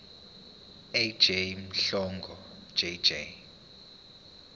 ej mhlanga jj